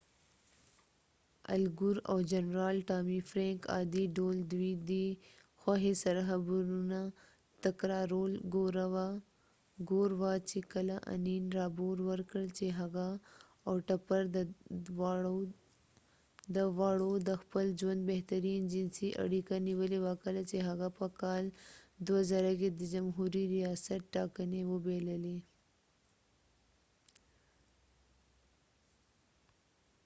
الګور او جنرال ټامی فرینک عادي ډول ددوي دي خوښۍ سر خبرونه تکرارول ګور وه چې کله انین رابور ورکړ چې هغه او ټپر د واړو د خپل ژوند بهترین جنسی اړیکه نیولی وه کله چې هغه په کال 2000 کې د جمهوری ریاست ټاکنی وبایللی